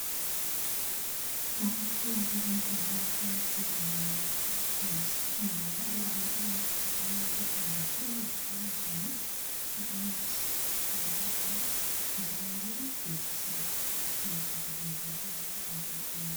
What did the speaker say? Odokotela babantwana baqakathekile ngoba bayafundisa omama ukubana abantwa babo kumele babadlise ukudla okunjani, bebanathise uchago lwabomama njalo bebagezise behlale behlambulukile ukuthi bebe lempilo